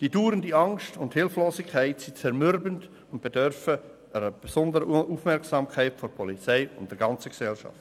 Die dauernde Angst und Hilflosigkeit sind zermürbend und bedürfen einer besonderen Aufmerksamkeit der Polizei und der ganzen Gesellschaft.